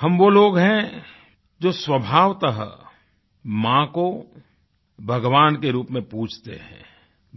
हम वो लोग हैंजो स्वाभवतः माँ को भगवान के रूप में पूजते हैं